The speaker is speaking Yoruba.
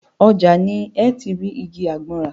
Ọjà ni ẹ́ ti rí igi àgbọn rà.